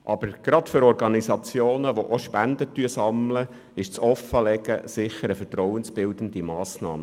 Aber gerade für Organisationen, die auch Spenden sammeln, ist das Offenle- gen sicher eine vertrauensbildende Massnahme.